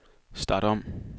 start om